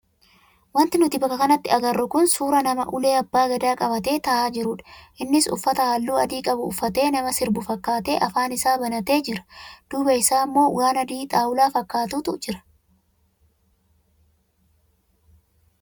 Wanti nuti bakka kanatti agarru kun suuraa nama ulee abbaa gadaa qabatee taa'aa jirudha. Innis uffata halluu adii qabu uffatee nama sirbu fakkaatee afaan isaa banatee jira. Duuba isaa immoo waan adii xaawulaa fakkaatantu jira.